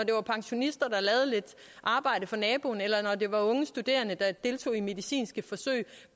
det var pensionister der lavede lidt arbejde for naboerne og det var unge studerende der deltog i medicinske forsøg